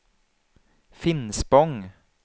Finspång